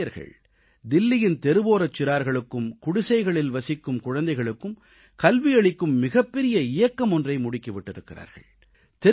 இந்த இளைஞர்கள் தில்லியின் தெருவோரச் சிறார்களுக்கும் குடிசைகளில் வசிக்கும் குழந்தைகளுக்கும் கல்வியளிக்கும் மிகப்பெரிய இயக்கம் ஒன்றை முடுக்கி விட்டிருக்கிறார்கள்